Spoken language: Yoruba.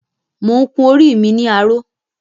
Mo ń kun orí mi ni aró